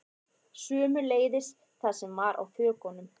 Sömuleiðis það sem var á þökunum